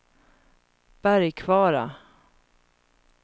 Bergkvara